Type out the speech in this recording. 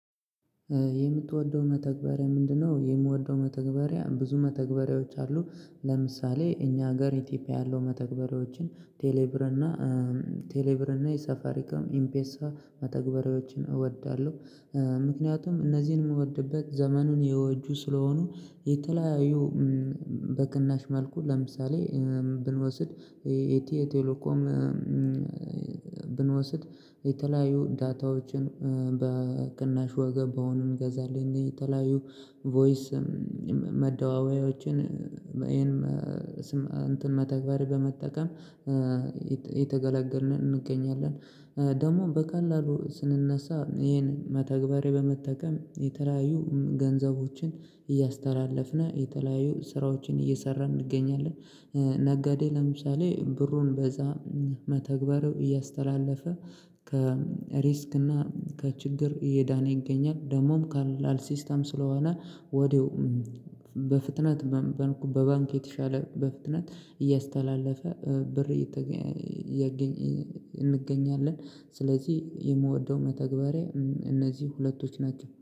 የምትወደው መተግበሪያ ምንድነው? የምወደው መተግበሪያ ብዙ መተግበሪያዎች አሉ። ለምሳሌ እኛ ሀገር ኢትዮጵያ ያለው መተግበሪያዎችን ቴሌብርና ቴሌብርና የሳፋሪካም ኢምፔሳ መተግበሪያዎችን እወዳለዉ። ምክንያቱም እነዚህን የምወድበት ዘመኑን የወጁ ስለሆኑ የተለያዩ በክናሽ መልኩ ለምሳሌ ብንወስድ የአቴዬ ቴሌኮም ብንወስድ የተለያዩ ዳታዎችን በክናሽ ዋጋ በሆኑ እንገዛለን የተለያዩ ቮይስ መደዋወያዎችን እንትን መተግበር በመጠቀም አየተገላገልን እንገኛለን። ደግሞ በካላሉ ስንነሳ ይሄን መተግበሬ በመጠከም የተለያዩ ገንዘቦችን እያስተላለፍነ የተለያየው ስራዎችን እየሰራን እንገኛለን። ነጋዴ ለምሳሌ ብሩን በዛ መተግበሩ እያስተላለፈ ከሪስክ እና ከችግር እየዳነ ይገኛል። ደግሞም ካላል ሲስተም ስለሆነ ወዲያው በፍጥነት በባንክ የተሻለ በፍጥነት እያስተላለፈ ብር እንገኛለን ስለዚህ የምወደው መተግበሪያ እነዚህ ሁለቶች ናቸው።